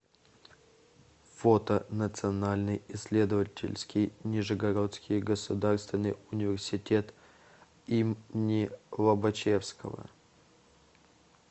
фото национальный исследовательский нижегородский государственный университет им ни лобачевского